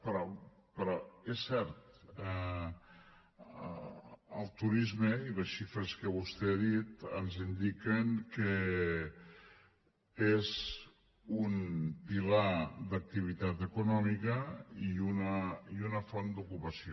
però és cert el turisme i les xifres que vostè ha dit ens indiquen que és un pilar d’activitat econòmica i una font d’ocupació